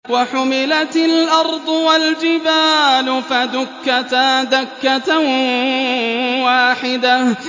وَحُمِلَتِ الْأَرْضُ وَالْجِبَالُ فَدُكَّتَا دَكَّةً وَاحِدَةً